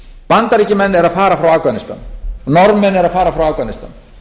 bandaríkjamenn eru að fara frá afganistan norðmenn eru að fara frá afganistan